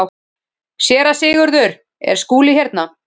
SÉRA SIGURÐUR: Er Skúli hérna?